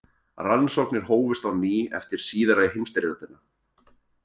Rannsóknir hófust á ný eftir síðari heimsstyrjöldina.